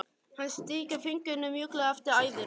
Hún strýkur fingrunum mjúklega eftir æðunum.